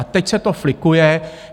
A teď se to flikuje.